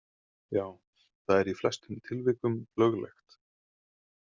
Já, það er í flestum tilvikum löglegt.